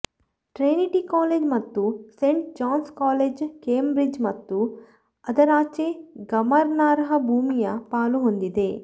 Trinity College ಮತ್ತು Saint John's College Cambridge ಮತ್ತು ಅದರಾಚೆ ಗಮನಾರ್ಹ ಭೂಮಿಯ ಪಾಲು ಹೊಂದಿವೆ